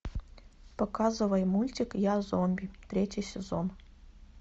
показывай мультик я зомби третий сезон